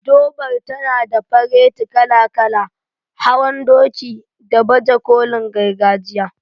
Durbar tana da fareti kala-kala, hawan doki, da baje kolin gargajiya.